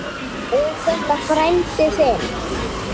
Er þetta frændi þinn?